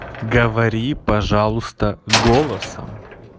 говори пожалуйста голосом